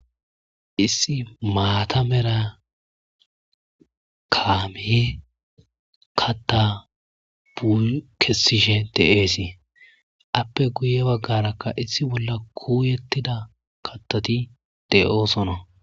issi maatamera kaamii katta buuy kessishe deeesee appe guye baggarakka issi bolla kuuyettida kattoti de7oosona